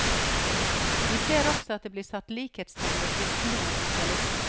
Vi ser også at det blir satt sterke likhetstegn ved kristendom og sosialisme.